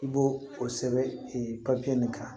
I b'o o sɛbɛn e papiye nin kan